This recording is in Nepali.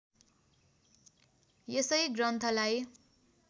यसै ग्रन्थलाई